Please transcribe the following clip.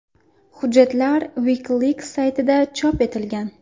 Hujjatlar WikiLeaks saytida chop etilgan.